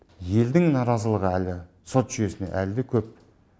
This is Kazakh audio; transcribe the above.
елдің наразылығы әлі сот жүйесіне әлі де көп